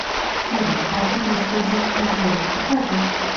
фильм аферисты дик и джейн покажи